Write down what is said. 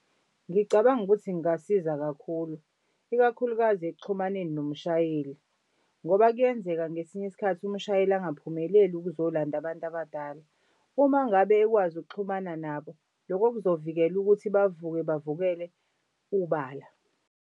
Ngicabanga ukuthi kungasiza kakhulu ikakhulukazi ekuxhumaneni nomshayeli ngoba kuyenzeka ngesinye isikhathi umshayeli angaphumeleli ukuzolanda abantu abadala. Uma ngabe ekwazi ukuxhumana nabo loko kuzovikela ukuthi bavuke bavukele ubala.